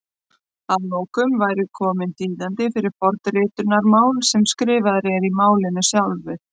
Að lokum væri kominn þýðandi fyrir forritunarmál sem skrifaður er í málinu sjálfu!